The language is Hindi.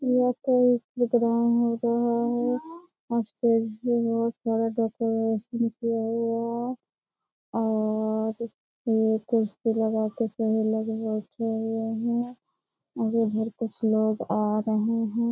यह कोई प्रोग्राम हो रहा है स्टेज पे बहुत सारा डेकोरेशन किया हुआ है और ये कुर्सी लगाकर सभी लोग बैठे हुए हैं इधर कुछ लोग आ रहे हैं।